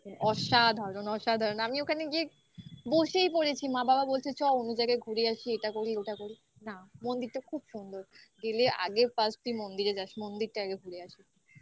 অসাধারণ. অসাধারণ. আমি ওখানে গিয়ে বসেই পড়েছি. মা বাবা বলছে চ. অন্য জায়গায় ঘুরে আসি. এটা করি. ওটা করি না মন্দিরটা খুব সুন্দর. গেলে আগে first তুই মন্দিরে যাস. মন্দিরটা আগে ঘুরে আসিস।